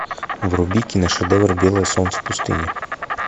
вруби киношедевр белое солнце пустыни